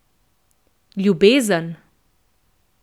Ljubezen.